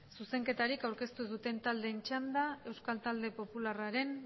zuzenketarik aurkeztu duten taldeen txanda euskal talde popularraren